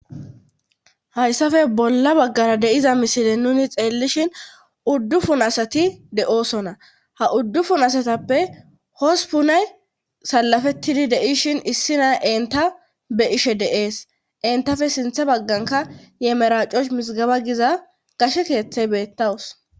hayssafe bolla baggara de'iza misile nuni xeellishin uddufun asati de7oosona ha uddufun asatappe hosupunay salafettidi de'ishin issina enta be ishe deees entafe sintha bagganka yemeracosh misgaba giza gashe keeththe beettawus